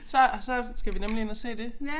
Så så skal vi nemlig ind og se det